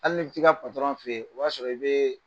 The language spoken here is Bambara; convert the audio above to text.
Hali n'i bɛ t'i ka fɛ ye o y'a sɔrɔ i bɛɛɛ